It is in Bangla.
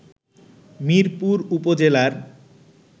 মিরপুর উপজেলার